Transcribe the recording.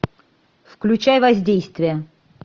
включай воздействие